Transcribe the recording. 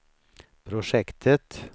projektet